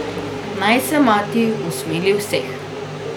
Naj se Mati usmili vseh.